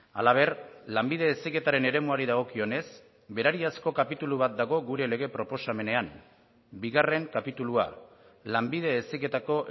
halaber lanbide heziketaren eremuari dagokionez berariazko kapitulu bat dago gure lege proposamenean bigarren kapitulua lanbide heziketako